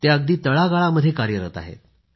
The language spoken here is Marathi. ते अगदी तळागळामध्ये कार्यरत आहेत